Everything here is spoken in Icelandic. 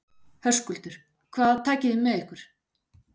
Höskuldur: Hvað takið þið með ykkur?